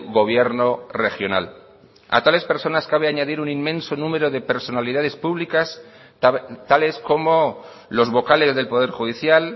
gobierno regional a tales personas cabe añadir un inmenso número de personalidades públicas tales como los vocales del poder judicial